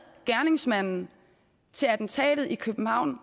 gerningsmanden til attentatet i københavn